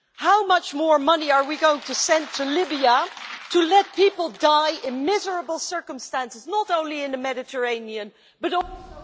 How much more money are we going to send to Libya to let people die in miserable circumstances, not only in the Mediterranean, but also in